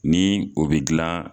Ni o bɛ gilan